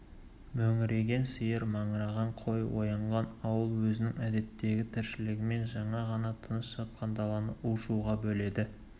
мөңіреген сиыр маңыраған қой оянған ауыл өзінің әдеттегі тіршілігімен жаңа ғана тыныш жатқан даланы у-шуға бөледі